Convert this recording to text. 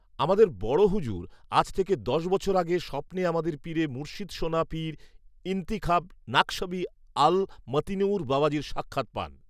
আমাদের বড় হুযুর, আজ থেকে দশ বছর আগে, স্বপ্নে আমাদের পীরে মুরশিদ সোনা পীর ইনতিখাব নাখশবী আল মতিনূঊর বাবাজীর সাক্ষাৎ পান